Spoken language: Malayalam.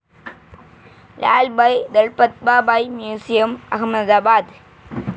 ലാൽഭായ് ദൾപത്ഭായ് മ്യൂസിയം, അഹമ്മദാബാദ്